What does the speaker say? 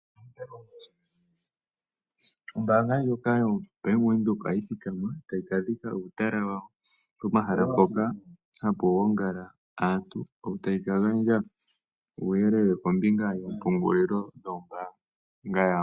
Ombaanga ndyoka yoBank Windhoek ohayi thikama tayi kadhika uutala wawo, komahala hoka haku gongala aantu, yo tayi ka gandja uuyelele kombinga yoompungulilo dhombaanga yawo.